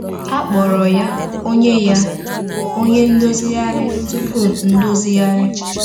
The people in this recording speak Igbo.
A kpọrọ ya “Onye ya “Onye Ndozigharị Tupu Ndozigharị.”